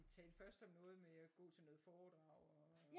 Vi talte først om noget med at gå til noget foredrag og øh